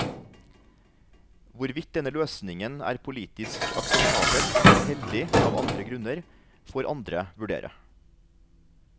Hvorvidt denne løsningen er politisk akseptabel eller heldig av andre grunner, får andre vurdere.